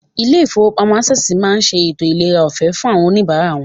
Ilé ìfowópamọ́ Access máa ṣe ètò ìlera ọ̀fẹ́ fún àwọn oníbàárà wọn.